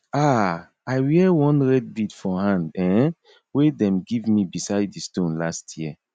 um i wear one red bead for hand um wey dem give me beside di stone last year